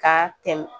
Ka tɛmɛ